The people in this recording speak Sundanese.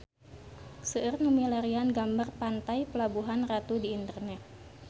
Seueur nu milarian gambar Pantai Pelabuhan Ratu di internet